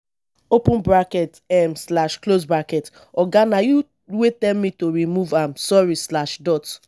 open bracket um slash close bracket oga na you wey tell me to remove am sorry slash dot